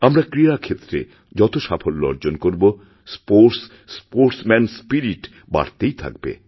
আমরা ক্রীড়াক্ষেত্রে যত সাফল্য অর্জন করব স্পোর্টস স্পোর্টস্ম্যানস্পিরিট বাড়তেই থাকবে